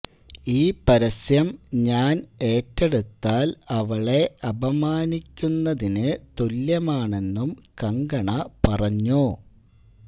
ഈ പരസ്യം ഞാന് ഏറ്റടെുത്താല് അവളെ അപമാനിക്കുന്നതിന് തുല്യമാണെന്നും കങ്കണ പറഞ്ഞു